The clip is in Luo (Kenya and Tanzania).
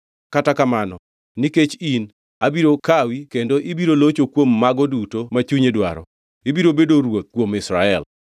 Kata kamano, nikech in, abiro kawi kendo ibiro locho kuom mago duto ma chunyi dwaro, ibiro bedo ruoth kuom Israel.